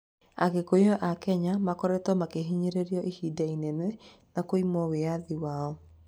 Agĩkũyũ a Kenya makoretwo makĩhinyĩrĩrio ihinda inene na kũimwo wĩathi wao